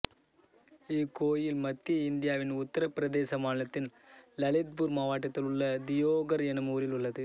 இக்கோயில் மத்திய இந்தியாவின் உத்தரப் பிரதேச மாநிலத்தின் லலித்பூர் மாவட்டத்தில் உள்ள தியோகர் எனும் ஊரில் உள்ளது